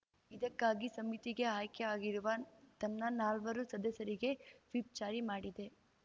ಇದಕ್ಕಾಗಿ ಸಮಿತಿಗೆ ಆಯ್ಕೆಯಾಗಿರುವ ತನ್ನ ನಾಲ್ವರು ಸದಸ್ಯರಿಗೆ ವಿಪ್‌ಜಾರಿ ಮಾಡಿದೆ